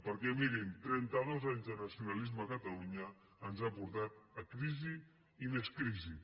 perquè mirin trenta dos anys de nacionalisme a catalunya ens han portat a crisi i més crisi